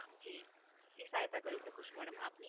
જી, શું સહાયતા કરી શકું છું મેડમ આપની?